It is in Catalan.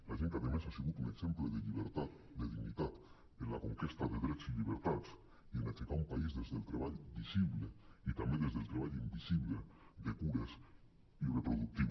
la gent que a més ha sigut un exemple de llibertat de dignitat en la conquesta de drets i llibertats i en aixecar un país des del treball visible i també des del treball invisible de cures i reproductiu